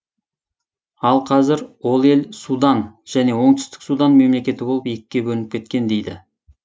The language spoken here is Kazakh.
ал қазір ол ел судан және оңтүстік судан мемлекеті болып екіге бөлініп кеткен дейді